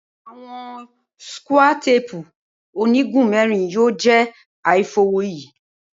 Awọn skúà téèpú onigun mẹrin yoo jẹ aifọwọyi.